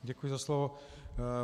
Děkuji za slovo.